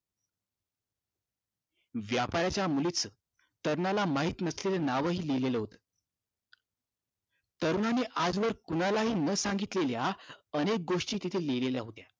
व्यापाऱ्याच्या मुलीचं तरुणाला माहिती नसलेलं नावही लिहिलेलं होतं. तरुणाने आजवर कुणालाही न सांगितलेल्या अनेक गोष्टी तिथे लिहिलेल्या होत्या.